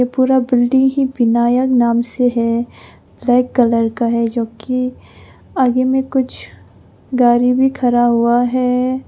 पूरा बिल्डिंग ही विनायक नाम से है ब्लैक कलर का है जो कि आगे में कुछ गाड़ी भी खड़ा हुआ हैं।